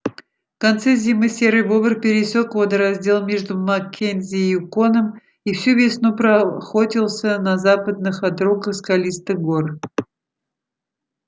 в конце зимы серый бобр пересёк водораздел между маккензи и юконом и всю весну проохотился на западных отрогах скалистых гор